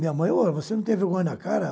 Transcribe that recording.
Minha mãe, ó, você não tem vergonha na cara?